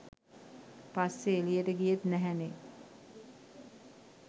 පස්සේ එළියට ගියේත් නැහැනේ.